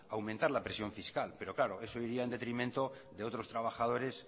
aumentar la presión fiscal pero claro eso iría en detrimento de otros trabajadores